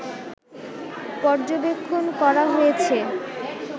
পর্যবেক্ষণ করা হয়েছে